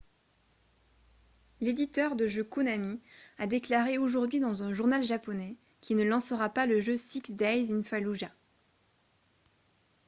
l'éditeur de jeux konami a déclaré aujourd'hui dans un journal japonais qu'il ne lancera pas le jeu six days in fallujah